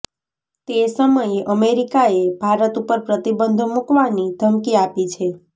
તે સમયે અમેરિકાએ ભારત ઉપર પ્રતિબંધો મુકવાની ધમકી આપી છે